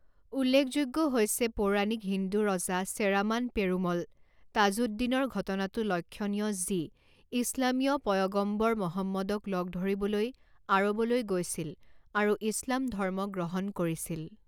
উল্লেখযোগ্য হৈছে পৌৰাণিক হিন্দু ৰজা চেৰামান পেৰুমল তাজুদ্দিনৰ ঘটনাটো লক্ষণীয় যি ইছলামীয় পয়গম্বৰ মহম্মদক লগ ধৰিবলৈ আৰৱলৈ গৈছিল আৰু ইছলাম ধৰ্ম গ্ৰহণ কৰিছিল।